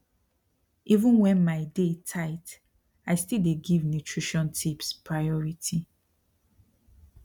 even when my day tight i still dey give nutrition tips priority